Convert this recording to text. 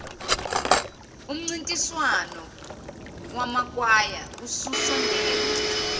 umncintiswano wamakwaya ususondele